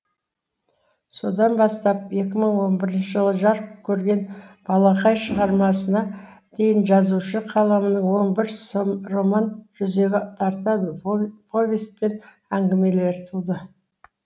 содан бастап екі мың он бірінші жылы жарық көрген балақай шығармасына дейін жазушы қаламның он бір роман жүзге тарта повесть пен әңгімелер туды